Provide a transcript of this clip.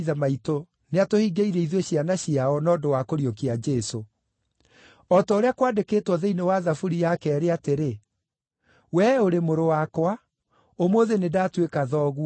nĩatũhingĩirie ithuĩ ciana ciao, na ũndũ wa kũriũkia Jesũ. O ta ũrĩa kwandĩkĩtwo thĩinĩ wa Thaburi ya keerĩ atĩrĩ: “ ‘Wee ũrĩ Mũrũ wakwa; ũmũthĩ nĩndatuĩka Thoguo.’